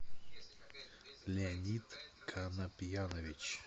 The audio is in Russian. леонид конопьянович